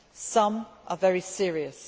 some are very serious.